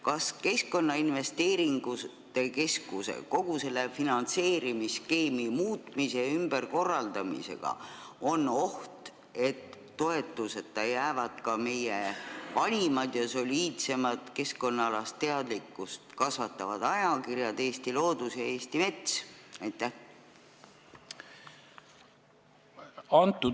Kas kogu selle Keskkonnainvesteeringute Keskuse finantseerimisskeemi muutmise ja ümberkorraldamisega on oht, et toetuseta jäävad ka meie vanimad ja soliidseimad keskkonnaalast teadlikkust kasvatavad ajakirjad Eesti Loodus ja Eesti Mets?